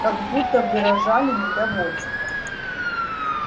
как будто выражали недовольство